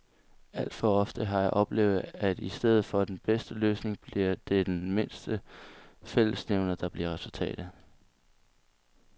Alt for ofte har jeg oplevet, at i stedet for den bedste løsning bliver det den mindste fællesnævner, der bliver resultatet.